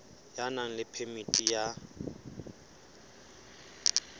ya nang le phemiti ya